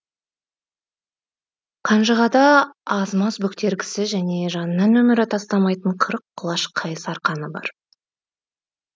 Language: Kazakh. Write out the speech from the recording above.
қанжығада аз маз бөктергісі және жанынан өмірі тастамайтын қырық құлаш қайыс арқаны бар